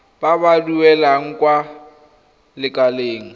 ba ba duelang kwa lekaleng